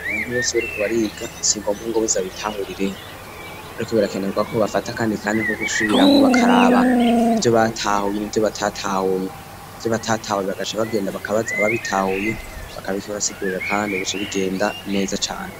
Abantu bose bariko bariga singombwa ngo bazabitahurireho, ariko birakenerwa ko bafata akandi kanya ko gusubiramwo bakaraba ivyo batahuye nivyo batatahuye, ivyo batatahuye bagaca bagenda bakabaza aba bitahuye bakabibasigurira, kandi bigaca bigenda neza cane.